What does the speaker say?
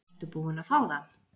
Ertu búin að fá það?